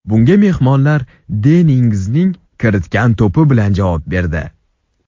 Bunga mehmonlar Denni Ingzning kiritgan to‘pi bilan javob berdi.